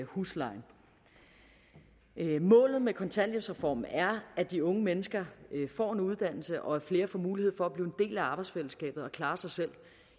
huslejen målet med kontanthjælpsreformen er at de unge mennesker får en uddannelse og at flere får mulighed for at blive en del af arbejdsfællesskabet og klare sig selv